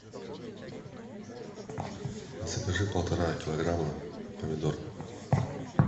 закажи полтора килограмма помидор